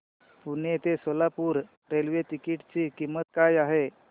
पुणे ते Solapur railway ticket ची किंमत काय आहे